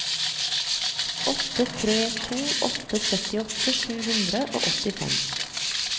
åtte tre to åtte syttiåtte sju hundre og åttifem